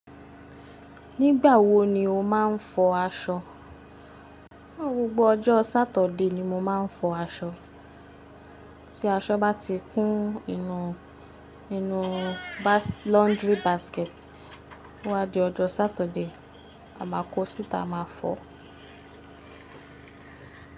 Nígbà wo ni o máa ń fọ aṣọ? Gbogbo ọjọ́ Sátọ̀de ni mo máa ń fọ aṣọ. Tí aṣọ bá ti kún inú, -bas, inú laundry basket, o wá di ọjọ́ Sátọ̀de, à ma kọ sítá, a ma fọo.